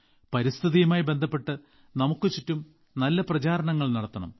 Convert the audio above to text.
പരിസ്ഥിതിയുമായി ബന്ധപ്പെട്ട് നമുക്ക് ചുറ്റും നല്ല പ്രചാരണങ്ങൾ നടത്തണം